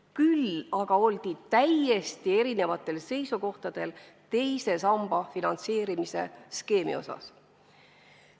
Küll aga oldi täiesti erinevatel seisukohtadel teise samba finantseerimise skeemi osas.